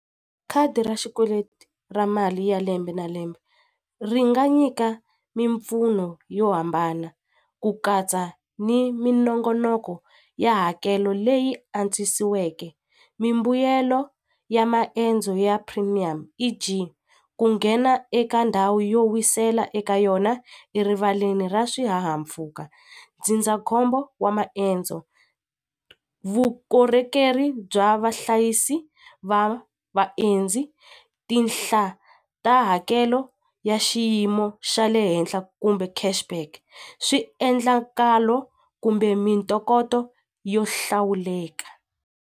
Khadi ra xikweleti ra mali ya lembe na lembe ri nga nyika mimpfuno yo hambana ku katsa ni minongonoko ya hakelo leyi antswisiweke mimbuyelo ya maendzo ya premium E_G ku nghena eka ndhawu yo wisela eka yona erivaleni ra swihahampfhuka ndzindzakhombo wa maendzo vukorhokeri bya vahlayisi va vaendzi tinhla ta hakelo ya xiyimo xa le henhla kumbe cash back swiendlakalo kumbe mintokoto yo hlawuleka.